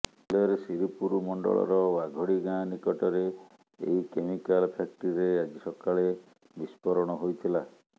ଧୁଲେର ଶିରପୁର ମଣ୍ଡଳର ଓ୍ୱାଘଡ଼ି ଗାଁ ନିକଟରେ ଏହି କେମିକାଲ ଫ୍ୟାକ୍ଟ୍ରିରେ ଆଜି ସକାଳେ ବିସ୍ଫୋରଣ ହୋଇଥିଲା